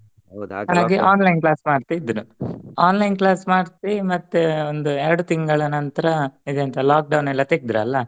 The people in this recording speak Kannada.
Online class ಮಾಡ್ತಿದ್ರು online class ಮಾಡ್ಸಿ ಮತ್ತೆ ಒಂದ್ ಎರಡು ತಿಂಗಳು ನಂತರ ಇದೆಂತ lockdown ಎಲ್ಲ ತೆಗ್ದ್ರಲ್ಲ